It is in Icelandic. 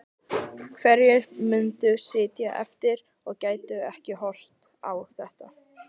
Hverjir myndu sitja eftir og gætu ekki horft á þetta?